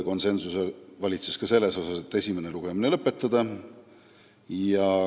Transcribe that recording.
Konsensus valitses ka selles, et esimene lugemine tuleks lõpetada.